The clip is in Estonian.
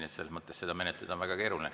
Selles mõttes on seda menetleda väga keeruline.